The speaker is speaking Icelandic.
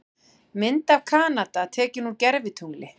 Mynd af Kanada tekin úr gervitungli.